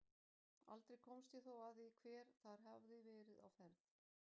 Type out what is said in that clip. Aldrei komst ég þó að því hver þar hafði verið á ferð.